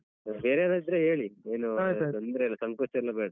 ಬೇರೇವ್ರ್ ಇದ್ರೆ ಹೇಳಿ ತೊಂದ್ರೆ ಇಲ್ಲ ಸಂಕೋಚ ಎಲ್ಲಾ ಬೇಡ.